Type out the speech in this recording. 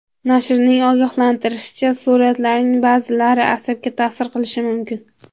Nashrning ogohlantirishicha, suratlarning ba’zilari asabga ta’sir qilishi mumkin.